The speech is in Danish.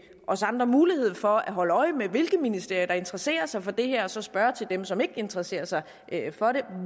os andre mulighed for at holde øje med hvilke ministerier der interesserer sig for det her og så spørge dem som ikke interesserer sig for det